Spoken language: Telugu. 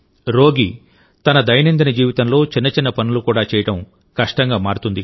రోగి తన దైనందిన జీవితంలో చిన్న చిన్న పనులు కూడా చేయడం కష్టంగా మారుతుంది